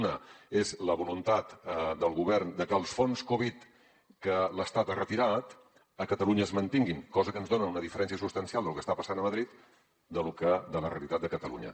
una és la voluntat del govern de que els fons covid que l’estat ha retirat a catalunya es mantinguin cosa que ens dona una diferència substancial del que està passant a madrid amb la realitat de catalunya